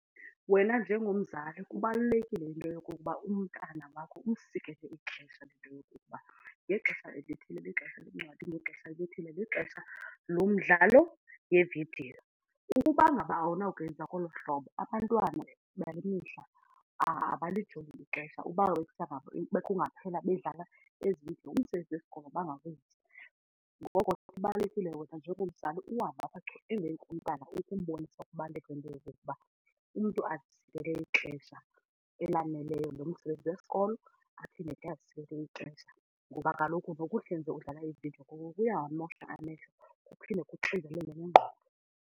Wena njengomzali kubalulekile into yokokuba umntana wakho umsikele ixesha into yokokuba ngexesha elithile lixesha leencwadi ngexesha elithile lixesha lomdlalo yevidiyo. Ukuba ngaba awunakwenza ngolo hlobo abantwana bale mihla abalijongi ixesha uba bekungaphela bedlala ezemidlalo umsebenzi wesikolo bangawenzi. Ngoko ke kubalulekile wena njengomzali uhambe apha chu emveni komntana ukumbonisa kubalulekile into yokokuba umntu azisikele xesha elaneleyo lomsebenzi wesikolo aphinde azisikele ixesha ngoba kaloku nokuhleze udlala iividiyo kuyawamosha amehlo kuphinde kuxinzelele nengqondo.